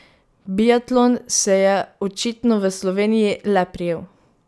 Biatlon se je očitno v Sloveniji le prijel.